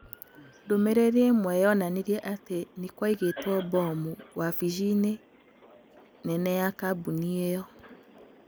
Ndũmĩrĩri ĩmwe yonanirie atĩ nĩ kwaigĩtwo mbomu wavici-inĩ nene ya kambuni ĩyo.